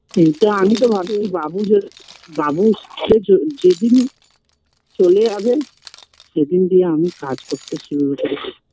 এইতো আমি তো ভাবিনি বাবু য বাবু যেজন যেদিন চলে যাবে সেইদিন দিয়ে আমি কাজ করতে শুরু করবো